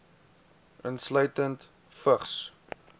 insluitende vigs